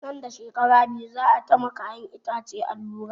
Nan da shekara biyu za a ta ma kayan itace allura